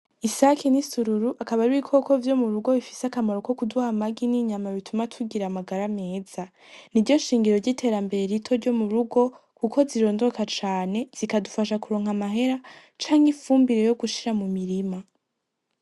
Isake n'isururu akaba ari ibikoko vyomurugo bifise akamaro kokuduha amagi n'inyama bituma tugira amagara meza, n'iryo shingiro ryiterambere rito ryo murugo kuko zirondoka cane zikadufasha kuronka amahera canke ifumbire yogushira mu mirima.